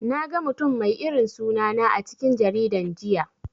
Naga mutum mai irin suna na a cikin jaridan jiya.